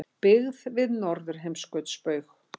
Byggð við Norðurheimskautsbaug.